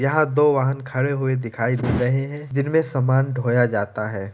यहां दो वाहन खड़े हुए दिखाई दे रहे है जिनमे सामान ढोया जाता है।